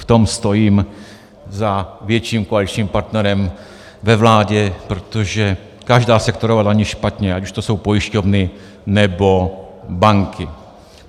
V tom stojím za větším koaličním partnerem ve vládě, protože každá sektorová daň je špatně, ať už to jsou pojišťovny, nebo banky.